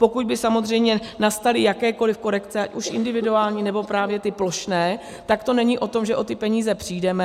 Pokud by samozřejmě nastaly jakékoliv korekce, ať už individuální, nebo právě ty plošné, tak to není o tom, že o ty peníze přijdeme.